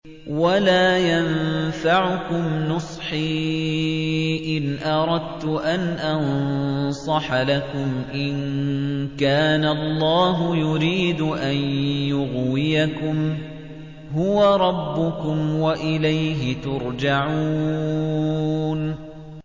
وَلَا يَنفَعُكُمْ نُصْحِي إِنْ أَرَدتُّ أَنْ أَنصَحَ لَكُمْ إِن كَانَ اللَّهُ يُرِيدُ أَن يُغْوِيَكُمْ ۚ هُوَ رَبُّكُمْ وَإِلَيْهِ تُرْجَعُونَ